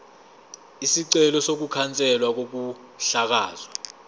isicelo sokukhanselwa kokuhlakazwa